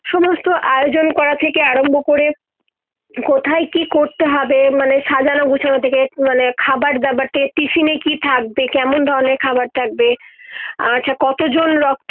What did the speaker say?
তো আয়োজন করা থেকে আরম্ভ করে কোথায় কি করতে হবে মানে সাজানো গুছানো থেকে মানে খাবার দাবার তে টিফিনে কি থাকবে কেমন ধরনের খাবার থাকবে আচ্ছা কত জন রক্ত